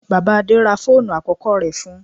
Bàbá Adé ra fóònù àkọ́kọ́ rẹ̀ fún-un.